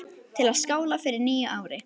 Til að skála í fyrir nýju ári.